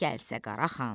gəlsə Qara xan.